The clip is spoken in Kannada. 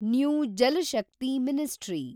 new Jal Shakti ministry